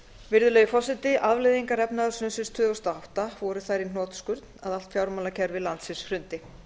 virðulegi forseti afleiðingar efnahagshrunsins tvö þúsund og átta voru þær í hnotskurn að allt fjármálakerfi landsins hrundi